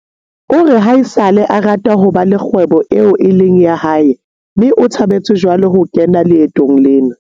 o re haesale a rata ho ba le kgwebo eo e leng ya hae mme o thabetse jwale ho kena leetong lena.